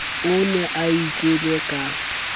o ne a itjele ka